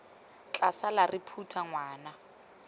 tla sala re phutha ngwana